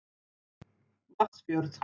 Vatnsfjörð